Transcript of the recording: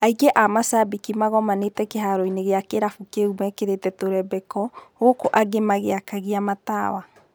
Aingĩ a-macabĩki magomanĩte kĩharoinĩ gĩakĩrabu kĩu mekĩrĩte tũrembeko, gũkũ angĩ magĩakagia matawa.